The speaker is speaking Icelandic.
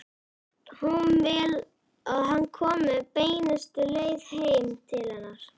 Hún vill að hann komi beinustu leið heim til hennar.